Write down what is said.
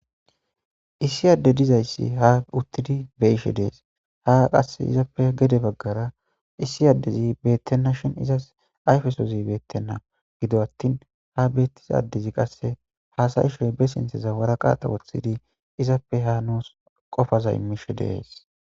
Issi adde dizayssi uttidi haa be'ishe dees. Ha qasse izappe gede baggara issi addezi beettena shini izas ayfesozi beettena. Gido attin ha beettiza addezi haasa'ishe be sinththan waraqate woththidi izappe haa nuusi qofaza immishe dees.